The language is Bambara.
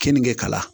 Keninge kalan